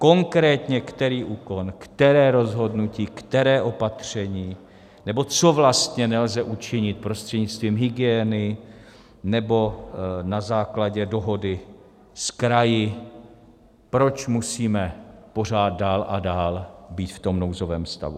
Konkrétně který úkon, které rozhodnutí, které opatření nebo co vlastně nelze učinit prostřednictvím hygieny nebo na základě dohody s kraji, proč musíme pořád dál a dál být v tom nouzovém stavu.